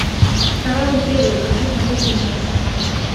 корабль призрак хочу смотреть сейчас